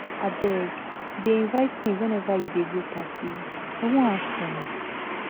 Abeg dey invite me whenever you dey go party, I wan have fun.